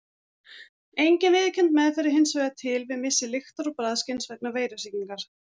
Engin viðurkennd meðferð er hins vegar til við missi lyktar- og bragðskyns vegna veirusýkingar.